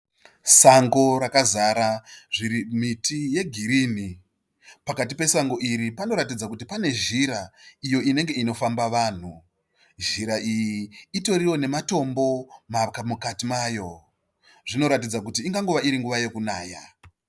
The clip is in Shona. Sango rakazara miti yegirinhi. Pakati pesango iri panoratidza kuti pane zhira iyo inege inofamba vanhu. Zhira iyi itoriwo nematombo mukati mayo. Zvinoratidza kuti ingangova iri nguva yokunaya.